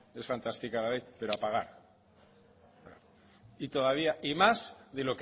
es fantástica la ley pero a pagar y todavía